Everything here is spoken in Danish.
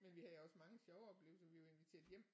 Men vi havde også mange sjove oplevelser vi var inviteret hjem